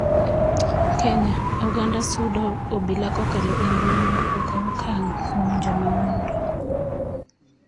Kenya: Oganda sundo obila kokalo e mbui mondo okaw okang' kuom jomaundo.